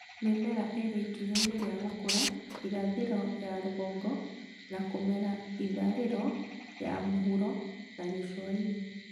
Mĩmera ĩrĩ ikinya-inĩ rĩa gũkũra irathĩro ya rũgongo na kũmera itharĩro ya mũhuro na gĩcũa-inĩ